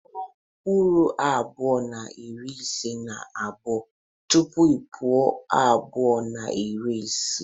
Gụọ puku abuo na iri ise na abuo tupu puku abuo na iri isii.